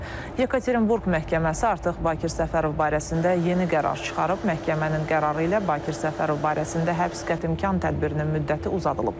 Yekaterinburq məhkəməsi artıq Bakir Səfərov barəsində yeni qərar çıxarıb, məhkəmənin qərarı ilə Bakir Səfərov barəsində həbs qətimkan tədbirinin müddəti uzadılıb.